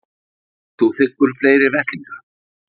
Og þú þiggur fleiri vettlinga?